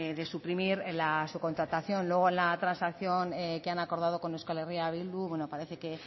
de suprimir la subcontratación luego en la transacción que han acordado con euskal herria bildu bueno parece que